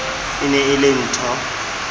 e ne e le nthho